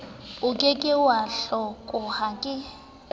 oke ke wa hlakoha o